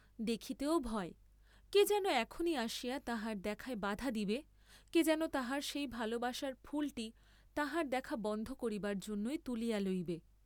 দেখিতেও ভয়, কে যেন এখনি আসিয়া তাহার দেখায় বাধা দিবে, কে যেন তাহার সেই ভালবাসার ফুলটি তাহার দেখা বন্ধ করিবার জন্যই তুলিয়া লইবে।